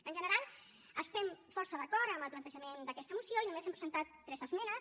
en general estem força d’acord en el plantejament d’aquesta moció i només hi hem presentat tres esmenes